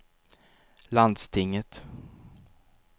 landstinget